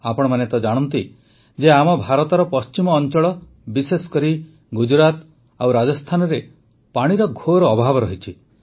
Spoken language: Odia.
ଆପଣମାନେ ତ ଜାଣନ୍ତି ଯେ ଆମ ଭାରତର ପଶ୍ଚିମ ଅଂଚଳ ବିଶେଷ କରି ଗୁଜୁରାଟ ଓ ରାଜସ୍ଥାନରେ ପାଣିର ଘୋର ଅଭାବ ରହିଛି